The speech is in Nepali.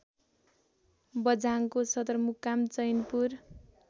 बझाङको सदरमुकाम चैनपुर